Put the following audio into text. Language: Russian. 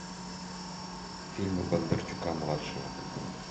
фильмы бондарчука младшего